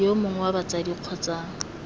yo mongwe wa batsadi kgotsa